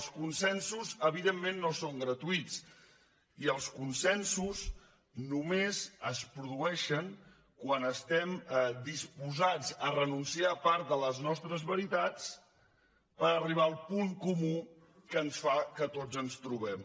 els consensos evidentment no són gratuïts i els consensos només es produeixen quan estem disposats a renunciar a part de les nostres veritats per arribar al punt comú que fa que tots ens trobem